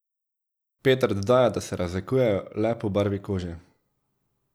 Peter dodaja, da se razlikujejo le po barvi kože.